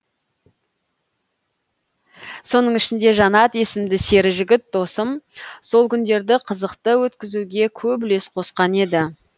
соның ішінде жанат есімді сері жігіт досым сол күндерді қызықты өткізуге көп үлес қосқан еді